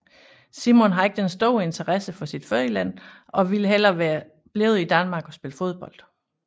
Simon har ikke den store interesse for sit fødeland og ville hellere være blevet i Danmark og spille fodbold